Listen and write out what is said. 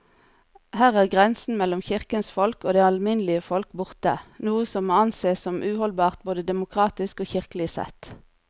Her er grensen mellom kirkens folk og det alminnelige folk borte, noe som må ansees som uholdbart både demokratisk og kirkelig sett.